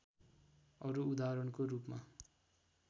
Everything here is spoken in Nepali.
अरू उदाहरणको रूपमा